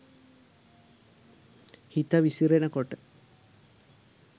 හිත විසිරෙන කොට